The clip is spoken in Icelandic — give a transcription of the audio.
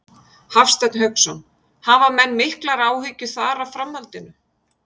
Hafsteinn Hauksson: Hafa menn miklar áhyggjur þar af framhaldinu?